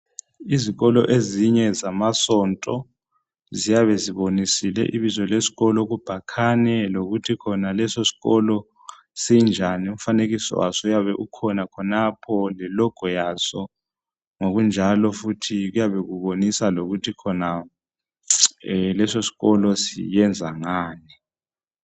Izikolo ezinye zamasonto ziyabe zibonisile ibizo leskolo kubhakhane lokuthi khona lesoskolo sinjani umfanekiso waso uyabe ukhona khonapho lelogo yaso , ngokunjalo futhi kuyabe kubonisa lokuthi khona lesoskolo siyenza ngani